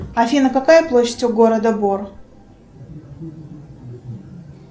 афина какая площадь у города бор